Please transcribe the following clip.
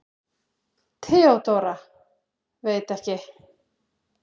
THEODÓRA: Veit ekki!